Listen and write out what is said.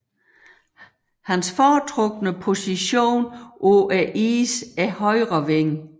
Hans foretrukne position på isen er højre wing